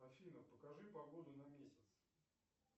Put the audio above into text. афина покажи погоду на месяц